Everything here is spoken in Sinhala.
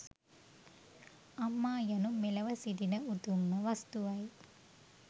අම්මා යනු මෙලොව සිටින උතුම්ම වස්තුවයි